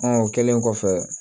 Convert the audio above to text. o kɛlen kɔfɛ